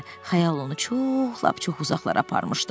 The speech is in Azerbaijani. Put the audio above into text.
Xəyal onu çox, lap çox uzaqlara aparmışdı.